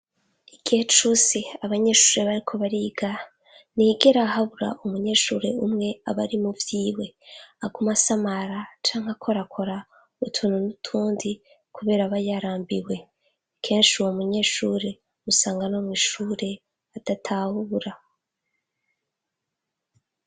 igihe cose abanyeshuri bariko bariga, ntihigera habura umunyeshuri umwe abari muvyiwe. aguma asamara canke akorakora utuntu n'utundi, kubera aba yarambiwe. kenshi uwo munyeshuri usanga no mw’ ishuri adatahura.